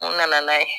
U nana n'a ye